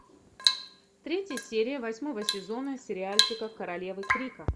третья серия восьмого сезона сериальчика королевы крика